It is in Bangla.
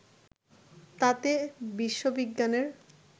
তাতে বিশ্ববিজ্ঞানের